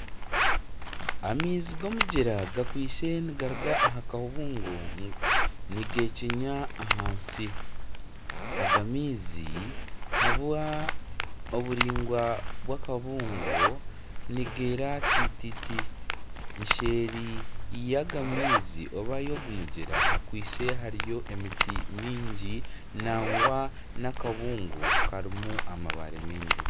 Amaizi ga omugyera gakwitse nigaruga aha kabungo nigechenya ahansi aga amaizi ahabwa oburaingwa bwa akabungo nigera tititi nseeri ya aga maizi oba ya ogu mugyera hakwitse hariyo emiti mingi nangwa n'akabungo karimu amabare mingi.